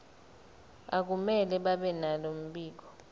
akumele babenalo mbiko